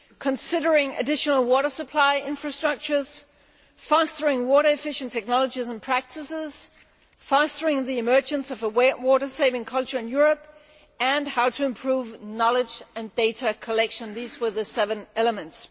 considering additional water supply infrastructures, fostering water efficient technologies and practices, fostering the emergence of a water saving culture in Europe, and how to improve knowledge and data collection. These were the seven elements.